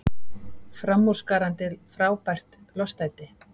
Framúrskarandi, frábært, lostæti.